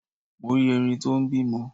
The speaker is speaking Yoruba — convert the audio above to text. Mo rí Erin tó n bímọ